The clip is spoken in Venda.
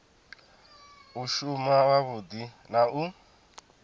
u shuma wavhudi na u